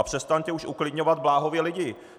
A přestaňte už uklidňovat bláhově lidi.